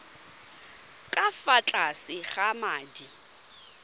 ka fa tlase ga madi